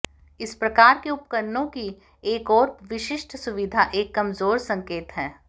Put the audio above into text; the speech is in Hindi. इस प्रकार के उपकरणों की एक और विशिष्ट सुविधा एक कमजोर संकेत है